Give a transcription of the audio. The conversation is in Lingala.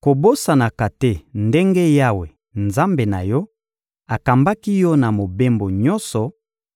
Kobosanaka te ndenge Yawe, Nzambe na yo, akambaki yo na mobembo nyonso